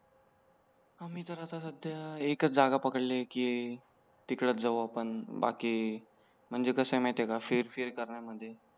आम्ही तर आता सध्या एकच जागा पकडली कि तिकडेच जाऊ आपण बाकी म्हणजे कसं आहे माहिती आहे का फिर फिर करण्या मध्ये